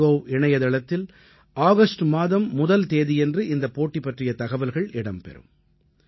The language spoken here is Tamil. மைகோவ் இணைய தளத்தில் ஆகஸ்ட் மாதம் முதல் தேதியன்று இந்தப் போட்டி பற்றிய தகவல்கள் இடம்பெறும்